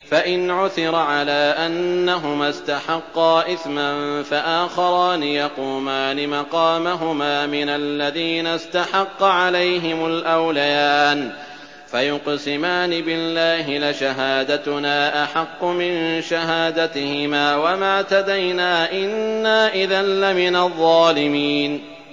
فَإِنْ عُثِرَ عَلَىٰ أَنَّهُمَا اسْتَحَقَّا إِثْمًا فَآخَرَانِ يَقُومَانِ مَقَامَهُمَا مِنَ الَّذِينَ اسْتَحَقَّ عَلَيْهِمُ الْأَوْلَيَانِ فَيُقْسِمَانِ بِاللَّهِ لَشَهَادَتُنَا أَحَقُّ مِن شَهَادَتِهِمَا وَمَا اعْتَدَيْنَا إِنَّا إِذًا لَّمِنَ الظَّالِمِينَ